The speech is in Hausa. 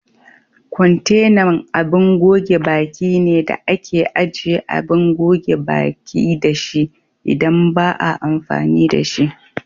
Kwantenan abin goge baki ne da ake ajiye Abin goge baƙi dashi idan ba a amfani da shi.